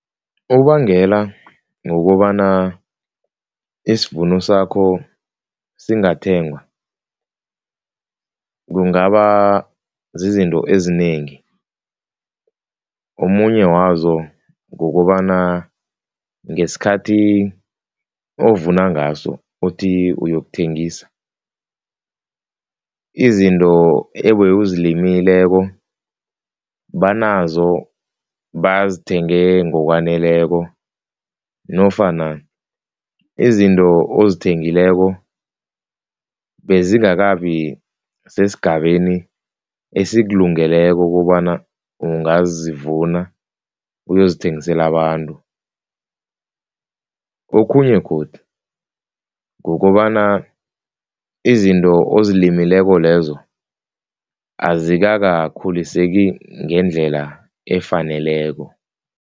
Okubangela ngokobana isivuno sakho singathengwa kungaba zizinto ezinengi, omunye wazo kukobana ngesikhathi ovuna ngaso uthi uyokuthengisa, izinto nawuzimiseleko banazo bazithenge ngokwaneleko nofana izinto ozithengileko bezingakabi sesigabeni esikulungeleko ukobana ungazivuna uyozithengisela abantu, okhunye godu kukobana izinto ozilimileko lezo azikakakhuliseki ngendlela efaneleko.